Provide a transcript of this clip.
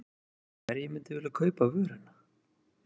En hverjir myndu vilja kaupa vöruna?